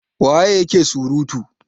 waye yake surutu!